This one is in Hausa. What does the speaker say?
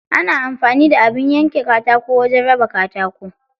Ana amfani da abin yanka katako wajen raba katako.